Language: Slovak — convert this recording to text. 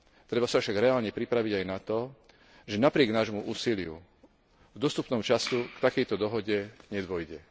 Treba sa však reálne pripraviť aj na to, že napriek nášmu úsiliu v dostupnom čase k takejto dohode nedôjde.